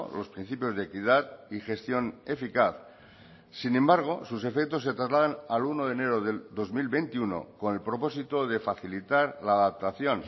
los principios de equidad y gestión eficaz sin embargo sus efectos se trasladan al uno de enero del dos mil veintiuno con el propósito de facilitar la adaptación